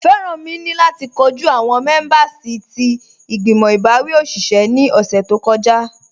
Feranmi ni lati kọju awọn mẹ̀mẹ̀bẹ̀rsì ti igbimọ̀ ibawi oṣiṣẹ̀ ni ọṣẹ̀ tó kọja